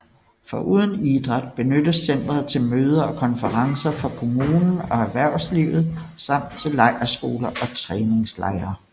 Foruden idræt benyttes centret til møder og konferencer for kommunen og erhvervslivet samt til lejrskoler og træningslejre